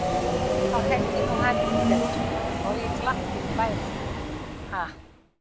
Þá held ég nú heldur betur að það logi glatt hér í bænum, ha!